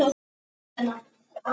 Berta að bera út Vísi.